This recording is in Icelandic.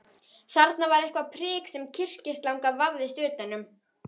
Þarna var eitthvert prik sem kyrkislanga vafðist utan um.